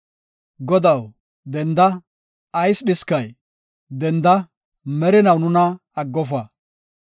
Godaw, denda, Ayis dhiskay? Denda, merinaw nuna aggofa.